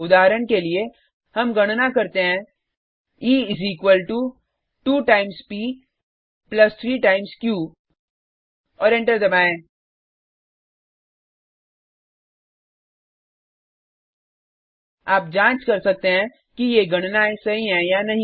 उदाहरण के लिए हम गणना करते हैं e is equal to 2 times p plus 3 times q और एंटर दबाएँ आप जाँच कर सकते हैं कि ये गणनायें सही हैं या नहीं